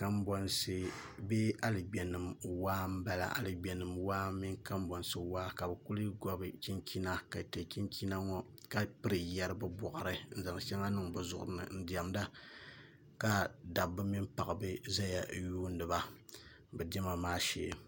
Kanbonsi bee aligbɛnim waa n bala aligbenim mini kanbonsi waa n bala ka kuli gobi Chinchina kan tɛ chinchina ka piri yɛri bɛ boɣiri ni n zan shɛŋa niŋ bɛ borini ka zan shɛŋa piri piri bɛ zuɣurini ka dab mini paɣa zaya n yuuniba